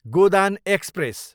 Godan express